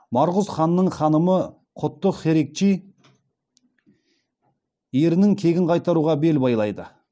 марғұз ханның ханымы құттық херикчи ерінің кегін қайтаруға бел байлайды